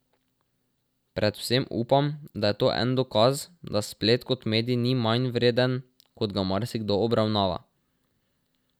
Predvsem upam, da je to en dokaz, da splet kot medij ni manjvreden, kot ga marsikdo obravnava.